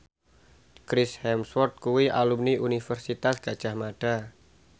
Chris Hemsworth kuwi alumni Universitas Gadjah Mada